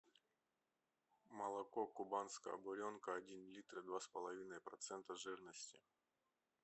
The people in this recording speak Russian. молоко кубанская буренка один литр два с половиной процента жирности